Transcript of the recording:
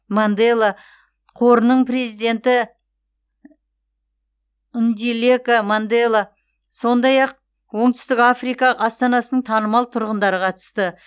мандела қорының президенті ндилека мандела сондай ақ оңтүстік африка астанасының танымал тұрғындары қатысты